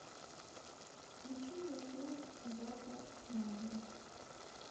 включи мне фильм зака снайдера